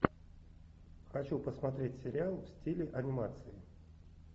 хочу посмотреть сериал в стиле анимации